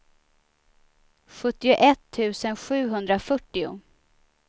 sjuttioett tusen sjuhundrafyrtio